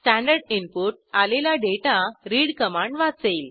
standard input आलेला data read command वाचेल